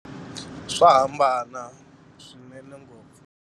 Swa hambana swinene ngopfu.